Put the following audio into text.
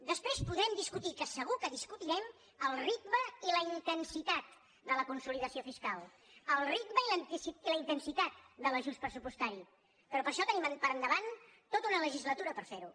després podrem discutir que segur que discutirem el ritme i la intensitat de la consolidació fiscal el ritme i la intensitat de l’ajust pressupostari però això tenim per endavant tota una legislatura per fer ho